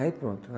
Aí pronto.